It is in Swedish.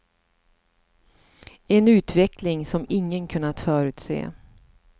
En utveckling som ingen kunnat förutse.